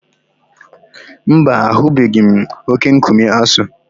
Mba, ahụbeghị m oke-nkume Aso.